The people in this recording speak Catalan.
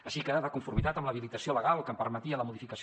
així que de conformitat amb l’habilitació legal que em permetia la modificació